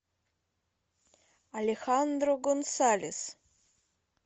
алехандро гонсалес